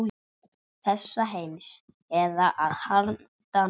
Þessa heims eða að handan.